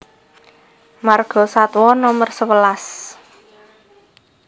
Margasatwa Nomer sewelas